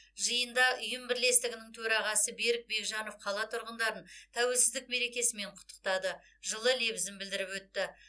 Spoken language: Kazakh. жиында ұйым бірлестігінің төрағасы берік бекжанов қала тұрғындарын тәуелсіздік мерекесімен құттықтады жылы лебізін білдіріп өтті